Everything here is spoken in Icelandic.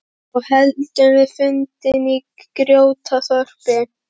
Þá héldum við fundina í Grjótaþorpi.